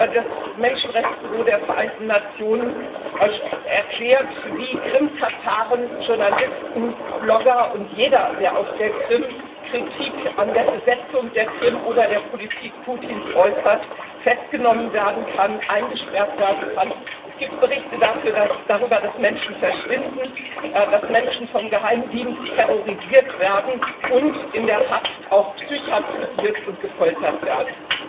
Das Menschenrechtsbüro der Vereinten Nationen erklärt, wie Krimtataren, Journalisten, Blogger und jeder, der auf der Krim Kritik an der Besetzung der Krim oder der Politik Putins äußert, festgenommen und eingesperrt werden kann. Es gibt Berichte darüber, dass Menschen verschwinden, dass Menschen vom Geheimdienst terrorisiert werden und in der Haft auch psychiatrisiert und gefoltert werden.